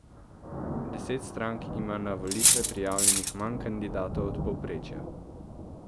Deset strank ima na volitve prijavljenih manj kandidatov od povprečja.